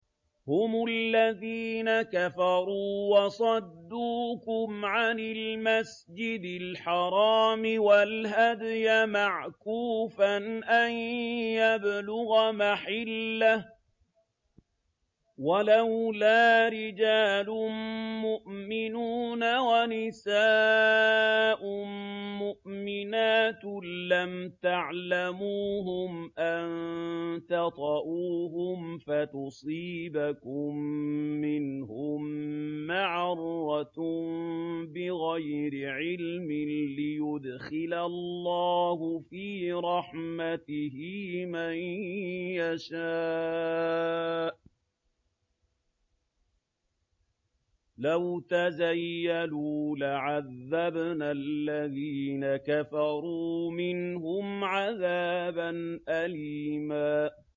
هُمُ الَّذِينَ كَفَرُوا وَصَدُّوكُمْ عَنِ الْمَسْجِدِ الْحَرَامِ وَالْهَدْيَ مَعْكُوفًا أَن يَبْلُغَ مَحِلَّهُ ۚ وَلَوْلَا رِجَالٌ مُّؤْمِنُونَ وَنِسَاءٌ مُّؤْمِنَاتٌ لَّمْ تَعْلَمُوهُمْ أَن تَطَئُوهُمْ فَتُصِيبَكُم مِّنْهُم مَّعَرَّةٌ بِغَيْرِ عِلْمٍ ۖ لِّيُدْخِلَ اللَّهُ فِي رَحْمَتِهِ مَن يَشَاءُ ۚ لَوْ تَزَيَّلُوا لَعَذَّبْنَا الَّذِينَ كَفَرُوا مِنْهُمْ عَذَابًا أَلِيمًا